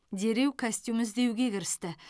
дереу костюм іздеуге кірісті